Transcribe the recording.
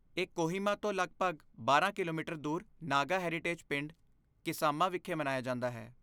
ਇਹ ਕੋਹਿਮਾ ਤੋਂ ਲਗਭਗ ਬਾਰਾਂ ਕਿਲੋਮੀਟਰ ਦੂਰ ਨਾਗਾ ਹੈਰੀਟੇਜ ਪਿੰਡ, ਕਿਸਾਮਾ ਵਿਖੇ ਮਨਾਇਆ ਜਾਂਦਾ ਹੈ